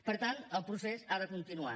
per tant el procés ha de continuar